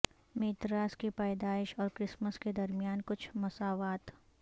Mithras کی پیدائش اور کرسمس کے درمیان کچھ مساوات